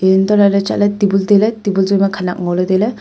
hantolahley chatley tabun tailey tabun jyuima khanak ngoley tailey.